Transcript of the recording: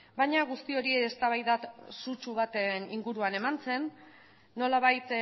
baina guzti hori eztabaida sutsu baten inguruan eman zen nolabait